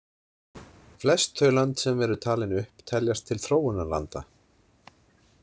Flest þau lönd sem eru talin upp teljast til þróunarlanda.